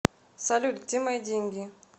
салют где мои деньги